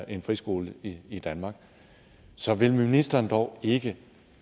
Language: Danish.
en friskole i i danmark så vil ministeren dog ikke